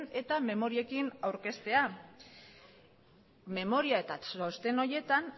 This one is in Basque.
eta memoriekin aurkeztea memoria eta txosten horietan